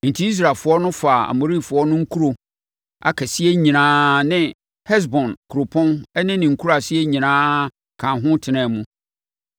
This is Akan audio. Enti Israelfoɔ no faa Amorifoɔ no nkuro akɛseɛ nyinaa a Hesbon kuropɔn ne ne nkuraase nyinaa ka ho tenaa mu.